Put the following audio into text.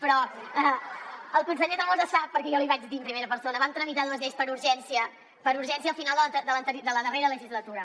però el conseller tremosa sap perquè jo li ho vaig dir en primera persona vam tramitar dues lleis per urgència per urgència al final de la darrera legislatura